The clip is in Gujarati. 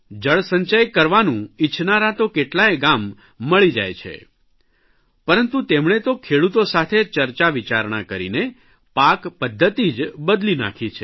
જળસંચય કરવાનું ઇચ્છનારાં તો કેટલાં ગામ મળી જાય છે પરંતુ તેમણે તો ખેડૂતો સાથે ચર્ચા વિચારણા કરીને પાક પદ્ધતિ જ બદલી નાખી છે